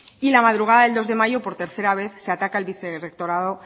y la madrugada del dos de mayo por tercera vez se ataca el vicerectorado